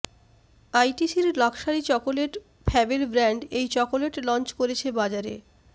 আইটিসির luxury chocolate Fabelle brand এই chocolate launch করেছে বাজারে